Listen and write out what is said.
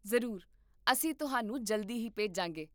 ਜ਼ਰੂਰ, ਅਸੀਂ ਤੁਹਾਨੂੰ ਜਲਦੀ ਹੀ ਭੇਜਾਂਗੇ